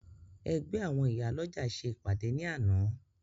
Ẹgbẹ́ àwọn Ìyálọ́jà ṣe ìpàdé ní àná